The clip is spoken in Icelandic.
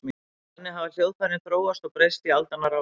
Þannig hafa hljóðfærin þróast og breyst í aldanna rás.